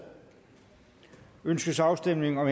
ønskes afstemning om